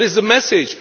What is the message?